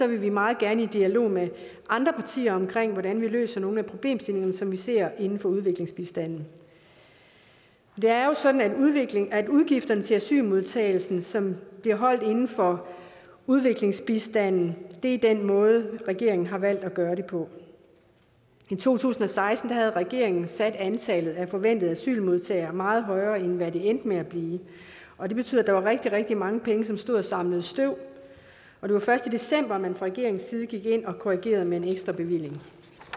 vi meget gerne i dialog med andre partier om hvordan vi løser nogle af problemstillingerne som vi ser inden for udviklingsbistanden det er jo sådan at udgifterne til asylmodtagelsen som bliver holdt inden for udviklingsbistanden er den måde regeringen har valgt at gøre det på i to tusind og seksten havde regeringen sat antallet af forventede asylmodtagere meget højere end hvad det endte med at blive og det betød at der var rigtig rigtig mange penge som stod og samlede støv og det var først i december at man fra regeringens side gik ind og korrigerede med en ekstrabevilling